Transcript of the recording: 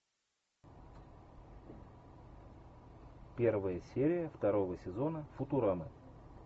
первая серия второго сезона футурамы